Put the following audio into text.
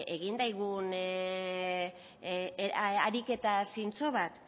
egin dezagun ariketa zintzo bat